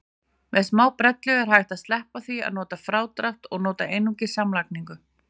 Með smábrellu er hægt að sleppa því að nota frádrátt og nota einungis samlagningu.